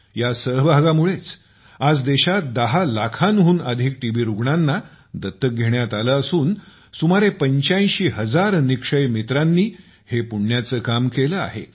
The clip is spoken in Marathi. या सहभागामुळेच आज देशात 10 लाखांहून अधिक टीबी रुग्णांना दत्तक घेण्यात आले असून सुमारे 85 हजार निक्षय मित्रांनी हे पुण्याचे काम केले आहे